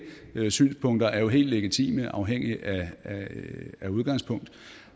synspunkter er jo helt legitime afhængigt af udgangspunkt